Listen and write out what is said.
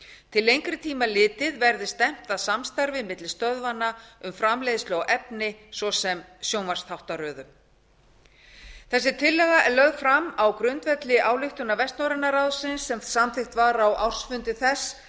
til lengri tíma litið verður stefnt að samstarfi milli stöðvanna um framleiðslu á efni svo sem sjónvarpsþáttaröðum þessi tillaga er lögð fram á grundvelli ályktana vestnorræna ráðsins sem samþykkt var á ársfundi þess